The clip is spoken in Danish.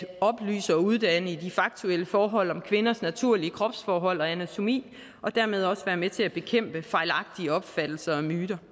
at oplyse og uddanne i de faktuelle forhold om kvinders naturlige kropsforhold og anatomi og dermed også være med til at bekæmpe fejlagtige opfattelser og myter